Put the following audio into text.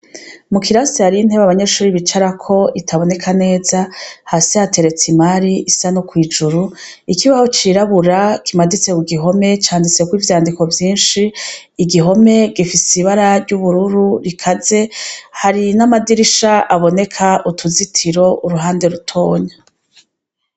Mu kirasi hariho intebe abanyeshuri bicarako itaboneka neza hasi hateretse imari isa no kw'ijuru, ikibaho cirabura kimaditse kugihome canditsweko ivyandiko vyinshi, igihome gifise ibara ry'ubururu rikaze hari n'amadirisha aboneka utuzitiro uruhande rutonya.